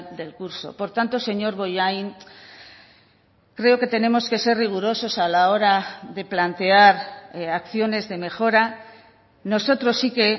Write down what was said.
del curso por tanto señor bollain creo que tenemos que ser rigurosos a la hora de plantear acciones de mejora nosotros sí que